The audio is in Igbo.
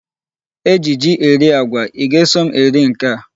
E ji ji eri agwa. I ga-eso m eri nke a.